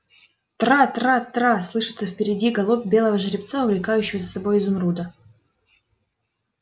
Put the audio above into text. тра тра тра слышится впереди галоп белого жеребца увлекающего за собой изумруда